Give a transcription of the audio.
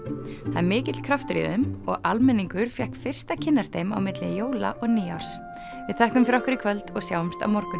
það er mikill kraftur í þeim og almenningur fékk fyrst að kynnast þeim á milli jóla og nýárs við þökkum fyrir okkur í kvöld og sjáumst á morgun